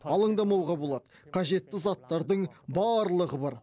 алаңдамауға болады қажетті заттардың барлығы бар